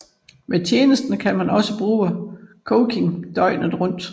Med tjenesterne kan man også bruge coaching døgnet rundt